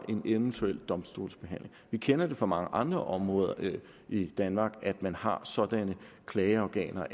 en eventuel domstolsbehandling vi kender fra mange andre områder i danmark at man har sådanne klageorganer